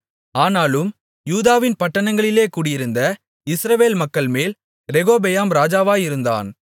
ஆனாலும் யூதாவின் பட்டணங்களிலே குடியிருந்த இஸ்ரவேல் மக்கள்மேல் ரெகொபெயாம் ராஜாவாயிருந்தான்